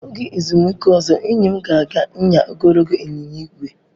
Oge ezumike ozo, enyi m ga aga nyaa ogologo ịnyịnya ígwè.